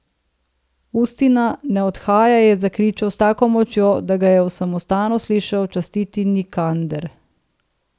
Ustina, ne odhajaj, je zakričal s tako močjo, da ga je v samostanu slišal častiti Nikander.